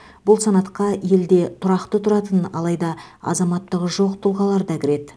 бұл санатқа елде тұрақты тұратын алайда азаматтығы жоқ тұлғалар да кіреді